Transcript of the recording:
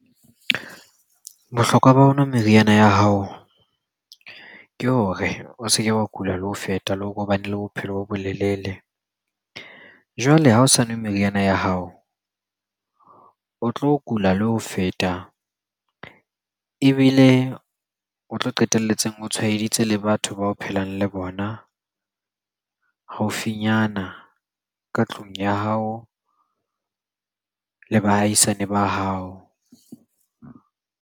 Bohlokwa ba ho nwa meriana ya hao ke hore o se ke wa kula le ho feta, le hore o bane le bophelo bo bo lelele. Jwale ha o sa nwe meriana ya hao, o tlo kula le ho feta ebile o tlo qetelletseng o tshwaeditse le batho ba o phelang le bona haufinyana ka tlung ya hao, le bahaisane ba hao.